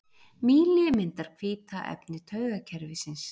Mýli myndar hvíta efni taugakerfisins.